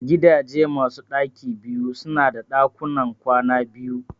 Gidaje masu ɗaki biyu su na da ɗakuna kwana biyu